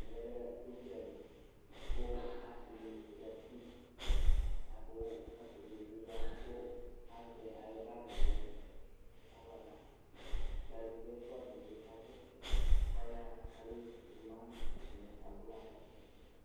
Ɛmɛ lɛ ʊdzali kʋ asɩ nɩ zati ,kʋ asɩ dɩnɩ bɩ ya kʋ azɛ ayʋ baggɩ ,uluvi ɛfʋa dɩnɩ bɩ kasɛsɛ ayaɣa kamevu tʋmatɩ ,abʋla nʋ ɛkʋ dekpekpe